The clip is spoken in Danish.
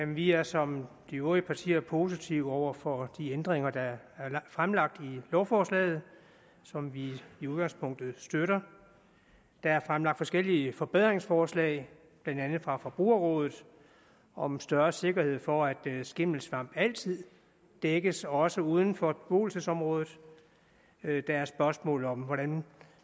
vi er som de øvrige partier positive over for de ændringer der er fremlagt i lovforslaget som vi i udgangspunktet støtter der er fremlagt forskellige forbedringsforslag blandt andet fra forbrugerrådet om større sikkerhed for at skimmelsvamp altid dækkes også uden for beboelsesområdet der er spørgsmålet om hvordan